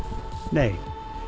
nei